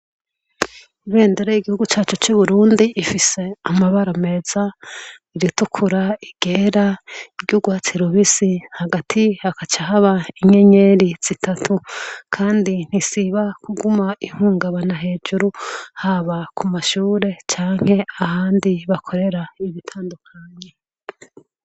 Ibendera yigihugu cacu rifise amabara meza iritukura iryera iryurwatsi rubisi hagati hakaca haba inyenyeri zitatu kandi ntiziguma zihungabana hejuru haba kumashure canke ahandi bakorera ibitandukanye